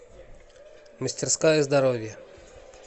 мастерская здоровья